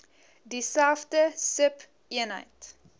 dieselfde sub eenheid